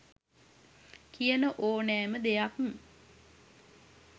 කියන ඕනෑම දෙයක්